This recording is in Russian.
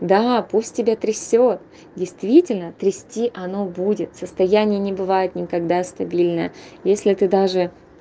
да пусть тебя трясёт действительно трясти оно будет состояние не бывает никогда стабильное если ты даже